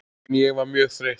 En ég var mjög þreytt.